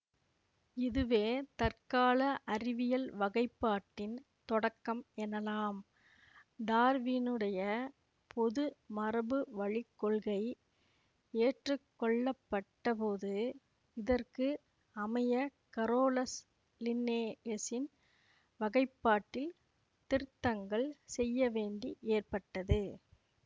இதுவே தற்கால அறிவியல் வகைப்பாட்டின் தொடக்கம் எனலாம் டார்வினுடைய பொது மரபுவழிக் கொள்கை ஏற்றுக்கொள்ளப்பட்டபோது இதற்கு அமைய கரோலஸ் லின்னேயசின் வகைப்பாட்டில் திருத்தங்கள் செய்யவேண்டி ஏற்பட்டது